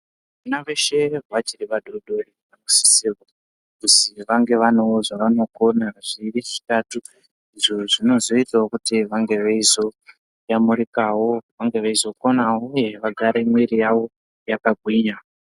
Vana veshe vachiri vadodori, vanosise kuzi vange vanewo zvavanokona zviiri zvitatu, izvo zvinozoitawo kuti vange veizoyamurikawo, vange veizokonawo uye vagare mwiri yavo yakagwinya.